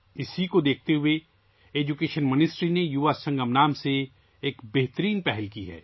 اس کو مدنظر رکھتے ہوئے وزارت تعلیم نے 'یوواسنگم' کے نام سے ایک بہترین پہل کی ہے